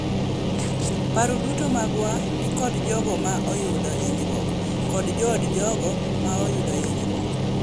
"Paro duto magwa ni kod jogo ma oyudo hinyruok kod jood jogo ma oyudo hinyruok."